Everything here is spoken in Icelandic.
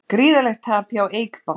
Gríðarlegt tap hjá Eik banka